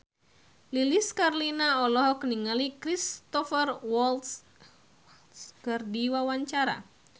Lilis Karlina olohok ningali Cristhoper Waltz keur diwawancara